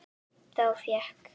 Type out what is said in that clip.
Þá fékk